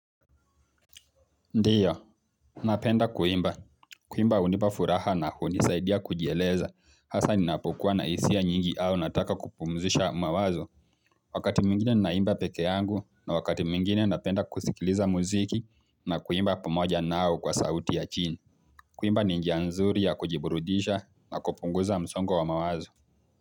Ndio, napenda kuimba. Kuimba hunipa furaha na hunisaidia kujieleza. Hasa ninapokuwa na hisia nyingi au nataka kupumzisha mawazo. Wakati mwingine ninaimba peke yangu na wakati mwingine napenda kusikiliza muziki na kuimba pamoja nao kwa sauti ya chini. Kuimba ni njia nzuri ya kujiburudisha na kupunguza msongo wa mawazo.